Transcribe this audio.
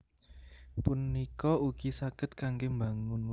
punika ugi saged kanggé mbangun